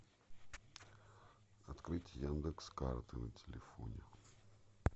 открыть яндекс карты на телефоне